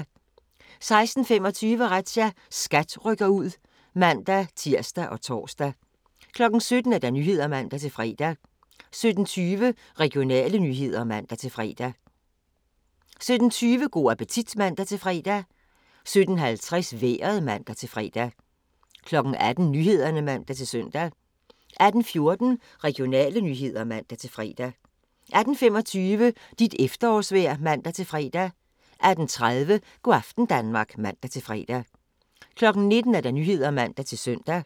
16:25: Razzia – SKAT rykker ud (man-tir og tor) 17:00: Nyhederne (man-fre) 17:12: Regionale nyheder (man-fre) 17:20: Go' appetit (man-fre) 17:50: Vejret (man-fre) 18:00: Nyhederne (man-søn) 18:14: Regionale nyheder (man-fre) 18:25: Dit efterårsvejr (man-fre) 18:30: Go' aften Danmark (man-fre) 19:00: Nyhederne (man-søn)